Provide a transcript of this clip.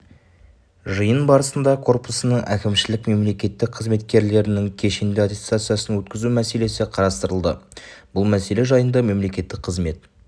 жиын барысында корпусының әкімшілік мемлекеттік қызметкерлерінің кешенді аттестациясын өткізу мәселесі қарастырылды бұл мәселе жайында мемлекеттік қызмет